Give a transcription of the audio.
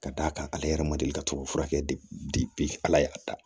Ka d'a kan ale yɛrɛ ma deli ka to ka furakɛ ala y'a ta